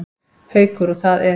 Haukur: Og það er?